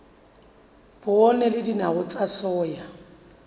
poone le dinawa tsa soya